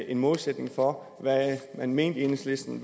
en målsætning for hvad man i enhedslisten